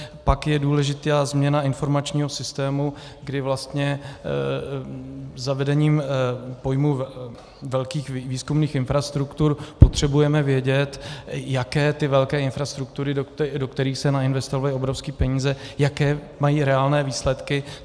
Pak je důležitá změna informačního systému, kdy vlastně zavedením pojmu velkých výzkumných infrastruktur potřebujeme vědět, jaké ty velké infrastruktury, do kterých se nainvestovaly obrovské peníze, jaké mají reálné výsledky.